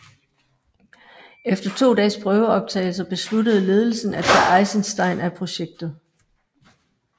Efter to dages prøveoptagelser besluttede ledelsen af tage Eisenstein af projektet